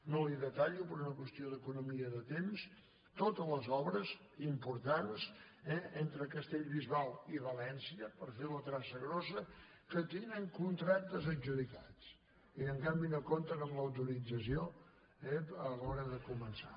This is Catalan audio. no li detallo per una qüestió d’economia de temps totes les obres importants eh entre castellbisbal i valència per fer la traça grossa que tenen contractes adjudicats i que en canvi no compten amb l’autorització a l’hora de començar